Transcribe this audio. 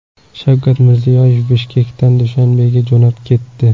Shavkat Mirziyoyev Bishkekdan Dushanbega jo‘nab ketdi.